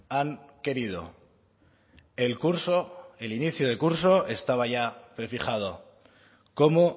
han querido el curso el inicio de curso estaba ya prefijado cómo